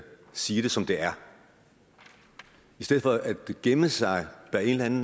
sige det som det er i stedet for at gemme sig bag en